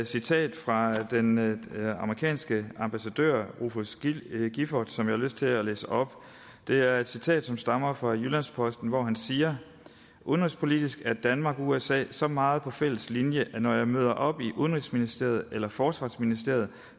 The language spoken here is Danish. citat fra den amerikanske ambassadør rufus gifford som jeg har lyst til at læse op det er et citat som stammer fra jyllands posten hvori han siger udenrigspolitisk er danmark og usa så meget på en fælles linje at når jeg møder op i udenrigsministeriet eller forsvarsministeriet